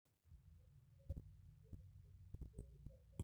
keropiyani aja elaki ena gym tolapa obo